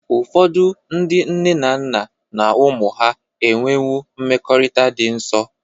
Ụfọdụ ndị nne na nna na ụmụ ha enwewo mmekọrịta dị nsọ.